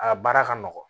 A baara ka nɔgɔn